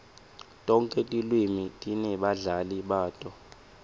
tonkhe tilwimi tinebabhali bato